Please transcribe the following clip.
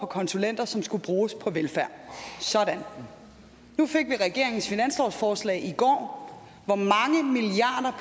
konsulenter som skulle bruges på velfærd sådan nu fik vi regeringens finanslovsforslag i går